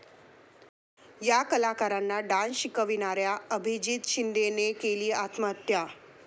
या कलाकारांना डान्स शिकवणाऱ्या अभिजीत शिंदेने केली आत्महत्या